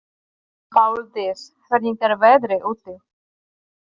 Páldís, hvernig er veðrið úti?